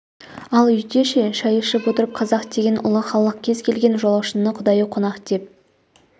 ал үйде ше шай ішіп отырып қазақ деген ұлы халық кез келген жолаушыны құдайы қонақ деп